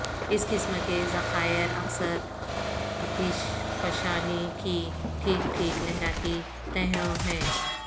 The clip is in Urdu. اس قسم کے ذخائر اکثر اتش فشانی کی ٹھیک ٹھیک لہراتی تہوں ہیں